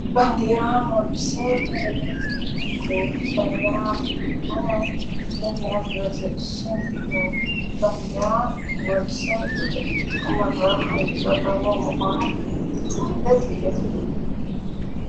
በንዴራ ንወዲ ሰብ መለለየ ምንነትኩ በንዴራ ብዙኾነ ምኽንያት በፅ እስም እዩ በንዲራ ነወዲ ሰብ ብዙኅ ጥቕመረው ዘለዎ ምኾኑ ዘፍለጥ እዩ።